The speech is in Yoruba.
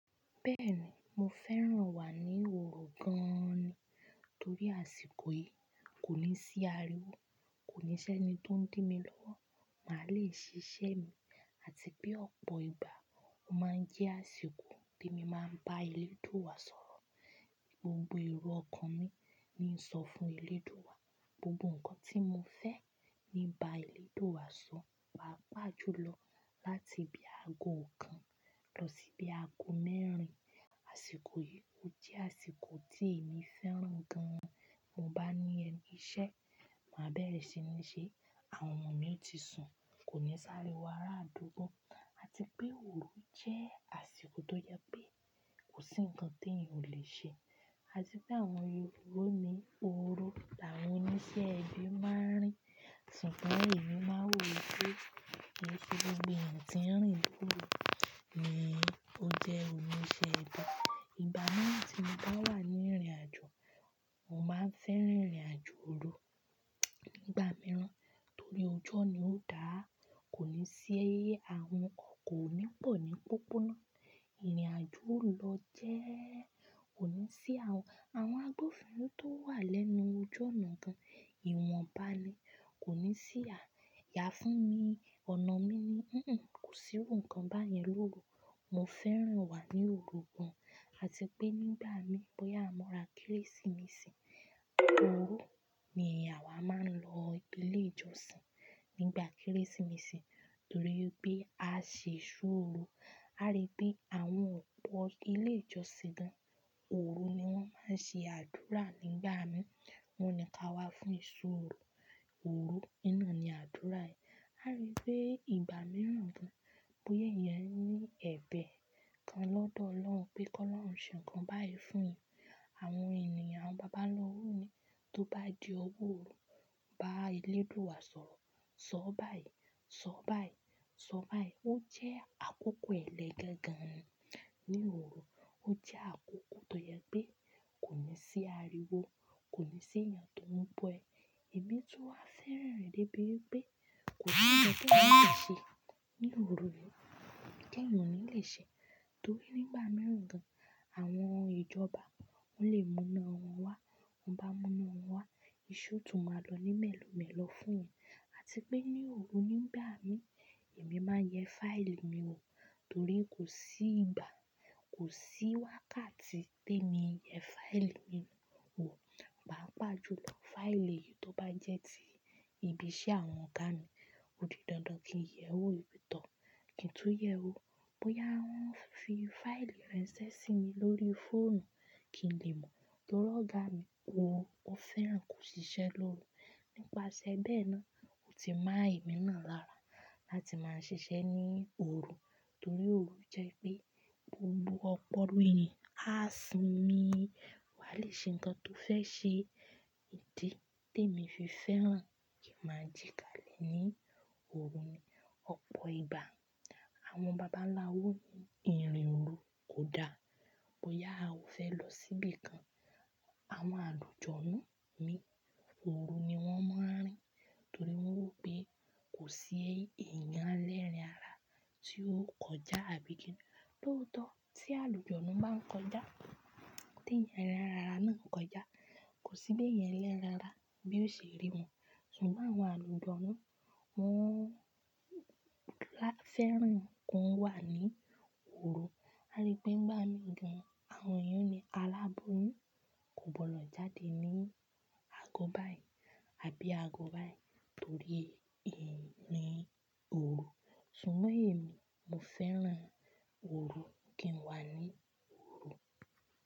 Bẹ́ẹ̀ni, mo fẹ́ràn wà ní òru gan-an ni torí àsìkò yìí kò ní sí ariwo, kò ní ṣẹ́ ni tó ń dí mi lọ́wọ́, màá le ṣiṣẹ́ mi àti pé ọ̀pọ̀ ìgbà ó máa ń jẹ́ àsìkò tí mo máa ń bá eléèdúwa sọ̀rọ̀. Gbogbo èrò ọkàn mi ni ń sọ fún eléèdúwa, gbogbo ǹkan tí mo fẹ́ ni ń bá eléèdúwa sọ. Pa pà jù lọ láti bí aago kan lọ sí bí aago mẹ́rin. Àsìkò yìí ó jẹ́ àsìkò tí èmi fẹ́ràn gan-an. Mo bá ní ẹni iṣẹ́, màá bẹ́rẹ̀ ṣi ní ṣe. Àwọn ọmọ mi ti sùn, kò ní sáriwò ara àdúgbò àti pé òru jẹ́ àsìkò tó yẹ pé kò sí ǹkan tí ẹyan ò le ṣe àti pé àwọn ehoro ni òru làwọn oníṣẹ́ ibi máa ń rìn. Ṣùgbọ́n èmi máa ń wò ó pé kin sè gbogbo èyan tìn rìn lòrù ni ó jẹ́ oníṣẹ́ ibì. Ìgbà mìíràn tí mo bá wà ní ìrìnàjò, mo máa ń fẹ́ràn ìrìnàjò òru. Nígbà mìíràn torí ọjọ́ mi ó dáa, kò ní sí, àwọn ọkọ̀ kò ní pọ̀ ní pópóná. Ìrìnàjò ó lọ jẹ́ẹ́ kò ní sí àwọn, àwọn agbófinró tó wà lẹ́nu òju ónà gan, ìwọ̀n bá ni kò ní sí à. Yá fún mi, ọ̀nà mi ni "kò sí ohun kan báyẹn lóru." Mo fẹ́ràn wà ní òru gan-an àti pé nígbà mìí bóyá a mura Kérésìmesì, òru ni áwa máa ń lọ ilé ìjọsìn nígbà Kérésìmesì torí pé a ṣe iṣó òru. A rí pé àwọn ọ̀pọ̀ ilé ìjọsìn gan, òru ni wọ́n máa ń ṣe àdúrà nígbà mìí. Wọ́n ní ká wá fún iṣó òru, òru nínà ni àdúrà ẹ. A rí pé ìgbà mìíràn gan bóyá èyan ní ẹ̀bẹ̀ kan lọ́dọ̀ Ọlọ́run pé kó lọ́run ṣe ǹkan báyìí fún. Àwọn ènìyàn, àwọn baba lọ́wọ́ ni tó bá di ọjọ́ òru bá eléèdúù wa sọ̀rọ̀, "sọ báyìí, sọ báyìí, sọ báyìí." Ó jẹ́ àkókò ẹlẹ́gẹ̀ gan-an ní òru. Ó jẹ́ àkókò tó yẹ pé kò ní sí ariwo, kò ní sí èèyàn tó ń bọ́ ẹ. Ẹ̀mí tun wa fẹ́ràn rẹ̀ débi wipé kò si ǹkan tí ẹyan le fẹ ṣe ní òru yi tí ẹyan ò ní le ṣe torí nígbà mìíràn gan àwọn ìjọba wọ́n lè múná wọn wá, ti wọ́n bá múná wọn wá, iṣẹ́ ó tún máa lọ ní mẹ́lò mẹ́lò fún ọ àti pé ní òru nígbà mìí èmi máa ń yẹ fáìlì mi wò torí kò sí ìgbà, kò sí wákàtí tèmi yẹ fáìlì mi wò. Pá pà jù lọ fáìlì tó bá jẹ́ ti ibi iṣẹ́ àwọn ọ̀gá mi, ó di dandan kí n yẹ wò wipe tọ̀, kí n tún yẹ wò. Bóyá wọ́n fi fáìlì ranse sí mi lórí fóònù kí n lè mọ̀ tori ọ̀gá mi wọn, wọn fẹ́ràn kó ṣiṣẹ́ lóru. Nípasẹ̀ bẹ́ẹ̀ náà, ó ti ma emí náà lára láti máa ṣiṣẹ́ ní òru torí òru jẹ́ pé gbogbo ọpọlọ èèyàn á sinmi wá lè ṣe ǹkan tó fẹ́ ṣe. Ìdí te mi fi fẹ́ràn kí màá jì ká lè ní òru ni ọ̀pọ̀ ìgbà àwọn baba ńlá wòn ni ìrìn òru kò dáa, bóyá ò fẹ́ lọ síbi kan. Àwọn àlùjọ̀nú ni òru ni wọ́n moń rìn torí wọ́n rò pé kò sí èèyàn elẹ́rìn-ara tí ó kọjá àbí kí ni. Lóòótọ́ tí àlùjọ̀nú bá ń kọjá, tí èèyàn lẹ́rìn-ara náà ń kọjá, kò sí bí èèyàn ẹlẹ́rìn-ara bí ó ṣe rí wọn ṣùgbọ́n àwọn àlùjọ̀nú wọ́n láfẹ́ràn kí wọ́n wà ní òru. A rí pé nígbà mìí gan àwọn èèyàn ní alábọ́yún kò gbọdọ̀ jáde ní aago báyìí àbí aago báyìí torí èmi òru ṣùgbọ́n èmi, mo fẹ́ràn òru kí n wà ní òru.